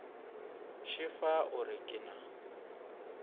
šefa o re ke na